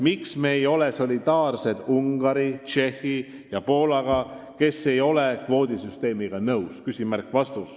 Miks me ei ole solidaarsed Ungari, Tšehhi ja Poolaga, kes ei ole kvoodisüsteemiga nõus?